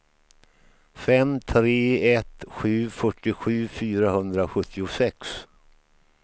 fem tre ett sju fyrtiosju fyrahundrasjuttiosex